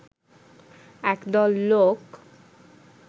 একদল লোক